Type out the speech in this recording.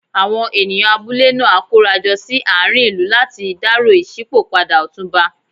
Àwọn ènìyàn abúlé náà á kóra jọ sí àárín ìlú láti dárò ìṣípò padà Ọ̀túnba.